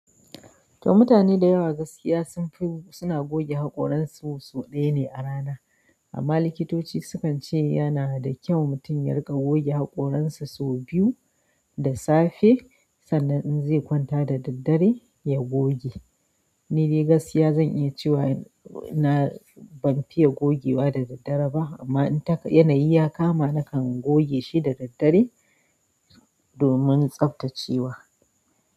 To mutane da yawa gaskiya sunfi suna goge hakoransu sau ɗaya ne a rana. Amma likitoci sukan ce yana da kyau mutun ya riga goge hakoransa sau biyu da safe sannan in zai kwanta da daddare ya goge. Ni dai gaskiya zan iya cewa ina ban fiye gogewa da daddare ba amma in ta yanayi ya kama nakan goge shi da daddare domin tsaftacewa.